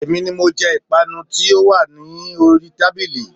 Èmi ni mo je Ìpanu tí ó wà ní oríi tábìlì